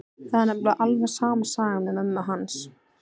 Það er nefnilega alveg sama sagan með mömmu hans.